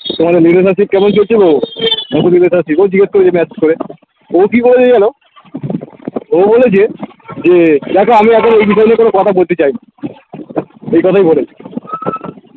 তোমাদের video message কেমো কেমন চলছে গো জিগেস করেছে message করে ও কি করেছে জানো ও বলেছে যে দেখো আমি এখন ওই বিষয় নিয়ে কোনো কথা বলতে চাই না ওইকথাই বলেছে